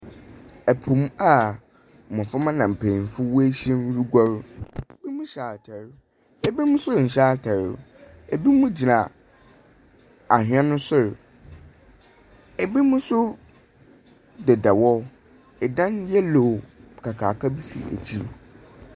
Po mu a mbɔframba na mpenyimfo wehyiam reguar. Binom hyɛ atar, ebinom nso nhyɛ atar. Ebinom gyina ahɛn no sor. Ebinom nso deda hɔ. Dan yellow kakraka bi si ekyir.